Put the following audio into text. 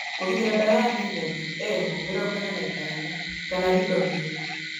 Kũgitĩra: ndawa na dithane m45 kana rindomil